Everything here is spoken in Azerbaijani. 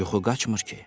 Yuxu qaçmır ki.